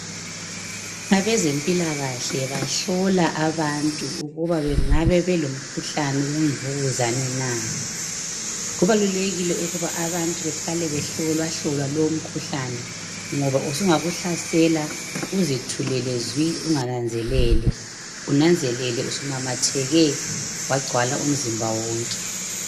Abezempilakahle bahlola abantu ukuba bengabe belomkhuhlane wemvukuzane na. Kubalulekile ukuba abantu behlale behlolwahlolwa lowu umkhuhlane ngoba usungakuhlasela uzithulele zwi ungananzelele, unanzelele usumemetheke wagcwala umzimba wonke.